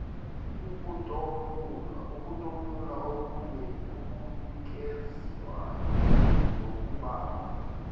ukutomula okunikezwayo ngokubamba